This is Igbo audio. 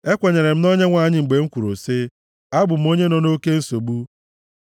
Ekwenyere m na Onyenwe anyị mgbe m kwuru sị, “Abụ m onye nọ nʼoke nsogbu,”